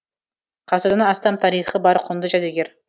ғасырдан астам тарихы бар құнды жәдігер